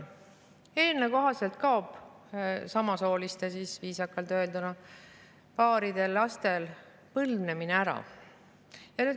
Eelnõu kohaselt kaob samasooliste, viisakalt öelduna, paaride lastel ära põlvnemise kohta.